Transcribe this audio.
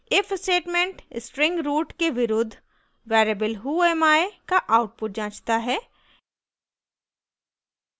if statement string root के विरुद्ध variable whoami का output जाँचता है